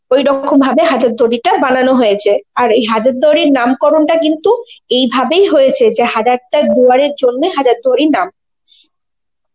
ওই রকম ভাবে হাজার দুয়ারিটা বানানো হয়েছে, আর এই হাজার দুয়ারীর নামকরণ টা কিন্তু এই ভাবেই হয়েছে যে হাজারটা দুয়ারের জন্যে হাজারদুয়ারি নাম.